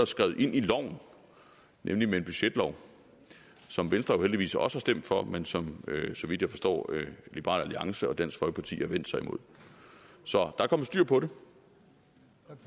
skrevet ind i loven nemlig i en budgetlov som venstre jo heldigvis også har stemt for men som så vidt jeg forstår liberal alliance og dansk folkeparti har vendt sig imod så der er kommet styr på